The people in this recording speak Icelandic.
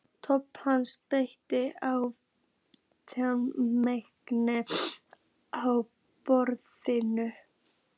Thomas benti á taflmennina á borðinu.